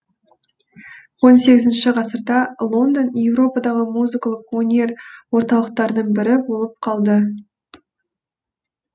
он сегізінші ғасырда лондон еуропадағы музыкалық өнер орталықтарының бірі болып қалды